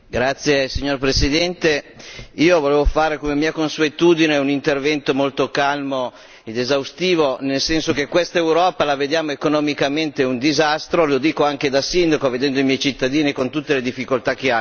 Signor Presidente, onorevoli colleghi, io volevo fare come mia consuetudine un intervento molto calmo ed esaustivo nel senso che quest'Europa la vediamo economicamente un disastro, lo dico anche da sindaco, vedendo i miei cittadini con tutte le difficoltà che hanno.